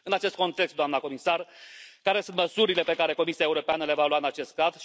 În acest context, doamnă comisar, care sunt măsurile pe care Comisia Europeană le va lua în acest caz?